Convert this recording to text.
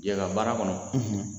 Yala baara kɔnɔ